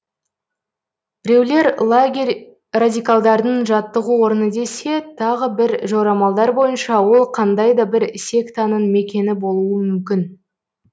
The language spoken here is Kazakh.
біреулер лагерь радикалдардың жаттығу орны десе тағы бір жорамалдар бойынша ол қандай да бір сектаның мекені болуы мүмкін